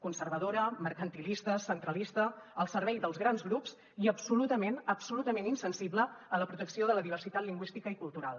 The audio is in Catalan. conservadora mercantilista centralista al servei dels grans grups i absolutament absolutament insensible a la protecció de la diversitat lingüística i cultural